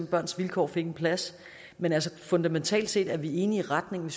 børns vilkår fik en plads men fundamentalt set er vi enige i retningen